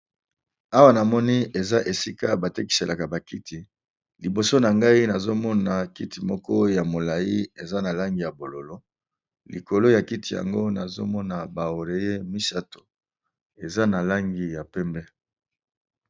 Awa namoni balakisi biso eza esika batekisaka ba kiti liboso nangai kiti moko ya molai eza nalangi ya bozinga likolo yakiti yango nazokomona ba oreiller misatu eza nabalangi ya pembe